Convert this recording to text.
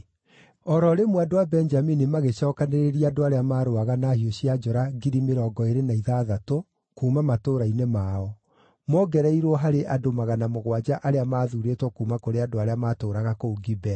O ro rĩmwe andũ a Benjamini magĩcookanĩrĩria andũ arĩa marũaga na hiũ cia njora 20,060 kuuma matũũra-inĩ mao, mongereirwo harĩ andũ magana mũgwanja arĩa maathuurĩtwo kuuma kũrĩ andũ arĩa maatũũraga kũu Gibea.